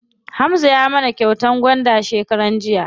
Hamza ya mana kyautar gwanda shekaran jiya.